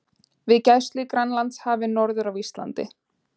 við gæslu í Grænlandshafi norður af Íslandi.